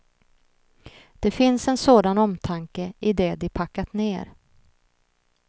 Det finns en sådan omtanke i det de packat ner.